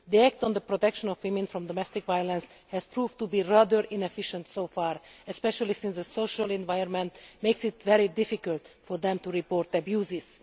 The act on the protection of women from domestic violence has proved to be rather inefficient so far, especially as the social environment makes it very difficult for them to report abuses.